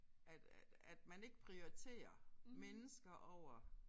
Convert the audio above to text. At at at man ikke prioriterer mennesker over